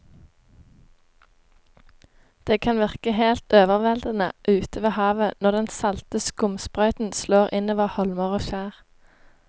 Det kan virke helt overveldende ute ved havet når den salte skumsprøyten slår innover holmer og skjær.